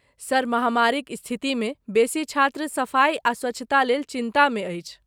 Sir, महामारीक स्थितिमे बेसी छात्र सफाई आ स्वच्छता लेल चिन्तामे अछि।